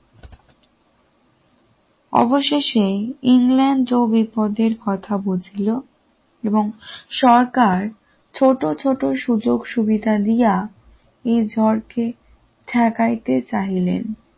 অবশেষে ইংল্যান্ড ও বিপদের কথা বলছিল এবং সরকার ছোট ছোট সুযোগ সুবিধা দিয়া এ ঝড় কে ঠেকাইতে চাইলেন